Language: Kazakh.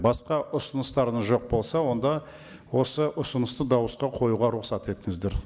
басқа ұсыныстарыңыз жоқ болса онда осы ұсынысты дауысқа қоюға рұқсат етіңіздер